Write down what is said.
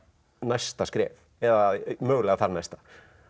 næsta skref eða mögulega þar næsta